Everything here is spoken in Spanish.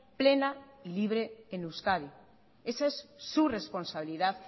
plena y libre en euskadi esa es su responsabilidad